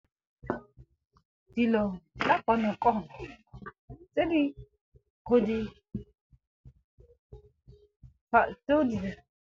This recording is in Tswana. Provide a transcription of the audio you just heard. Dilo tsa konokono tse di .